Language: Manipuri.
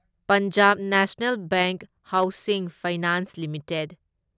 Punjab national bank housing finance limited